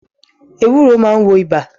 Ewúro máa ń wo ibà